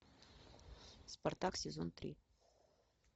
спартак сезон три